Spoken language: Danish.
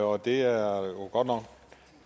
og det er jo godt nok